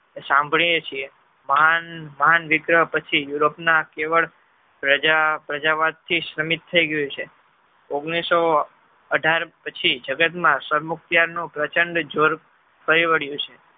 સાંભળીયે છીએ માંડ માંડ વિગ્રહ પછી europe ના કેવળ પ્રજા પ્રજા વસ્તી સીમિત થઈ ગયું છે ઓગણીસો અઢાર પછી જગત માં સૌરમુક્તા નું પ્રચંડ જોર પરિવાડીયું છે.